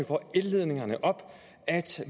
får elledningerne op at